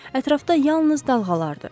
Ətrafda yalnız dalğalar idi.